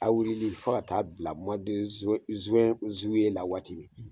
A' wulili fo ka taa bila la waati min.